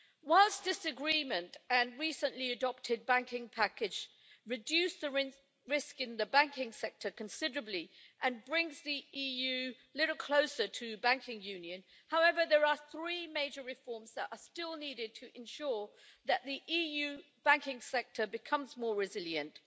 Whilst this agreement and the recently adopted banking package reduce the risk in the banking sector considerably and bring the EU a little closer to banking union, there are three major reforms that are still needed to ensure that the EU banking sector becomes more resilient.